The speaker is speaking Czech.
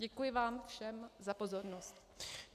Děkuji vám všem za pozornost.